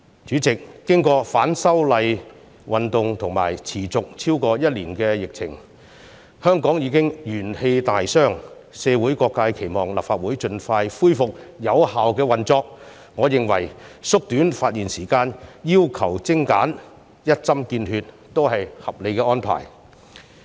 主席，經過反修例運動和持續超過1年的疫情，香港已經元氣大傷，社會各界期望立法會盡快恢復有效的運作，我認為縮短發言時間，要求精簡、一針見血也是合理的安排。